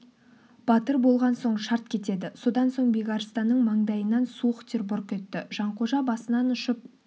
батыр болған соң шарт кетеді содан соң бекарыстанның маңдайынан суық тер бұрқ етті жанқожа басынан ұшып